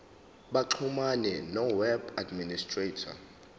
baxhumane noweb administrator